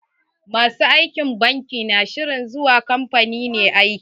Ma su aikin banki na shirin kamfani ne zuwa aiki.